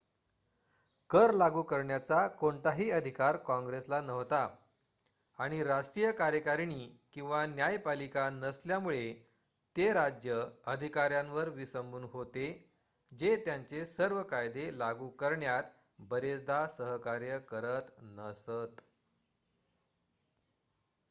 कर लागू करण्याचा कोणताही अधिकार काँग्रेसला नव्हता आणि राष्ट्रीय कार्यकारिणी किंवा न्यायपालिका नसल्यामुळे ते राज्य अधिकाऱ्यांवर विसंबून होते जे त्यांचे सर्व कायदे लागू करण्यात बरेचदा सहकार्य करत नसत